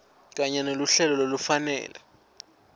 kanye neluhlelo lolufanele